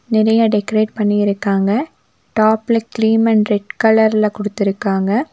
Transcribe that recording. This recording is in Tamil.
நெறைய டெக்கரேட் பண்ணியிருக்காங்க டாப்ல க்லீம் அண்ட் ரெட் கலர்ல குடுத்துருக்காங்க.